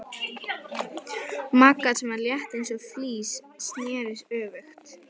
Magga, sem var létt eins og fis, sneri öfugt.